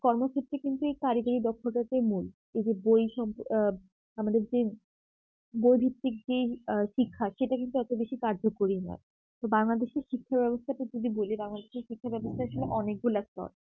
কর্মক্ষেত্রে কিন্তু এই কারিগরি দক্ষতাটাই মূল এই যে বই সম্প আ আমাদের যে বৈদেশিক যেই শিক্ষার সেটা কিন্তু এতো বেশি কার্যকরী নয় তো বাংলাদেশী শিক্ষাব্যবস্থাটা যদি বলি বাংলাদেশী শিক্ষাব্যাবস্থার আসলে অনেকগুলা স্তর